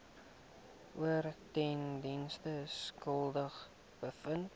oortredings skuldig bevind